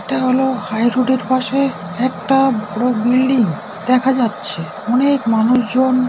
এটা হল high road -এর পাশে একটা বড় বিল্ডিং দেখা যাচ্ছে। অনেক মানুষজন --